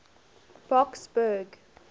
boksburg